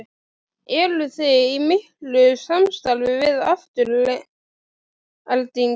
Eruði í miklu samstarfi við Aftureldingu?